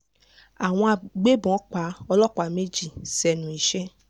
àwọn agbébọn pa ọlọ́pá méjì sẹ́nu iṣẹ́